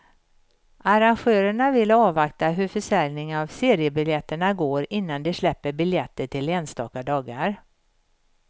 Arrangörerna vill avvakta hur försäljningen av seriebiljetterna går innan de släpper biljetter till enstaka dagar.